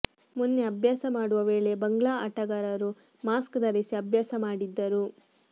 ಮೊನ್ನೆ ಅಭ್ಯಾಸ ಮಾಡುವ ವೇಳೆ ಬಂಗ್ಲಾ ಆಟಗಾರರು ಮಾಸ್ಕ್ ಧರಿಸಿ ಅಭ್ಯಾಸ ಮಾಡಿದ್ದರು